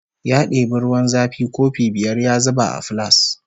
Ya debi ruwan zafi kofi biyar ya zuba a filas